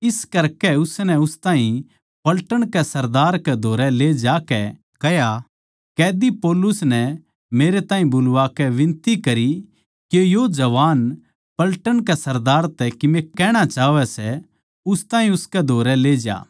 इस करकै उसनै उस ताहीं पलटन के सरदार कै धोरै ले जाकै कह्या कैदी पौलुस नै मेरै ताहीं बुलाकै बिनती करी के यो जवान पलटन के सरदार तै कीमे कहणा चाहवै सै उस ताहीं उसकै धोरै ले जा